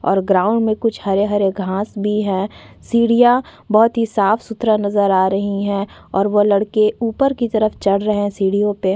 और ग्राउंड में कुछ हरे-हरे घास भी है सीढियाँ बहोत ही साफ़ सुथरा नज़र आ रही है और वो लड़के ऊपर की तरफ चढ़ रहे है सीढ़ियों पे--